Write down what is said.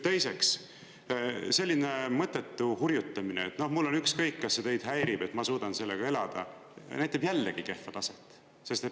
Teiseks, selline mõttetu hurjutamine, et "mul on ükskõik, kas see teid häirib, ma suudan sellega elada", näitab jällegi kehva taset.